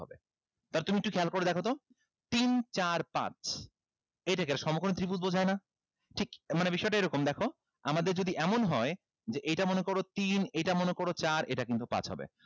তুমি একটু খেয়াল করে দেখো তো তিন চার পাঁচ এইটাকে একটা সমকোণী ত্রিভুজ বোঝায় না ঠিক মানে বিষয়টা এইরকম দেখো আমাদের যদি এমন হয় যে এইটা মনে করো তিন এইটা মনে করো চার এইটা কিন্তু পাঁচ হবে